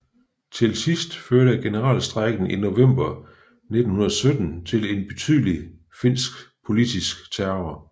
Til sidst førte generalstrejken i november 1917 til en betydelig finsk politisk terror